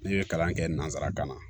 Ne ye kalan kɛ nanzarakan na